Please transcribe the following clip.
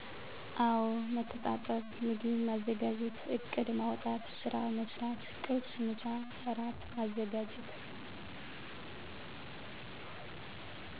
አወ መተጣጠብ ምግብ ማዘጋጀት እቅድ ማዉጣት ስራ መስራት ቁርስ፣ ምሳ፣ እራት ማዘጋጀት።